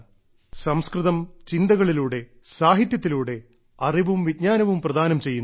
സംസ്കൃതം ചിന്തകളിലൂടെ സാഹിത്യത്തിലൂടെ അറിവും വിജ്ഞാനവും പ്രദാനം ചെയ്യുന്നു